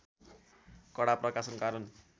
कडा प्रकाशका कारण